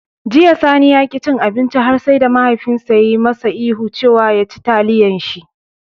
Jiya, Sani ya ƙi ya ci abinci har sai da mahaifinsa ya yi masa ihu cewa "ya ci taliyan shi"